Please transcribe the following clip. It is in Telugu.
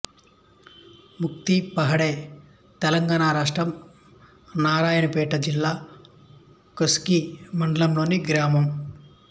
ముక్తిపహాడ్ తెలంగాణ రాష్ట్రం నారాయణపేట జిల్లా కోస్గి మండలంలోని గ్రామం